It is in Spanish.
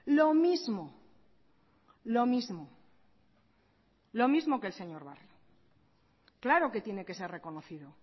lo mismo lo mismo lo mismo que el señor barrio claro que tiene que ser reconocido